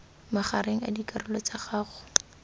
magareng a dikarolo tsa gago